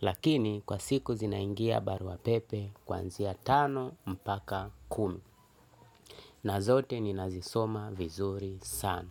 Lakini kwa siku zinaingia barua pepe kuanzia tano mpaka kumi. Na zote ninazisoma vizuri sana.